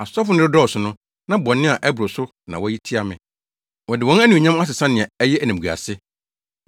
Asɔfo no redɔɔso no na bɔne a ɛboro so na wɔyɛ tia me. Wɔde wɔn Anuonyam asesa nea ɛyɛ animguase.